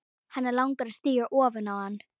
Hana langar að stíga ofan á hann.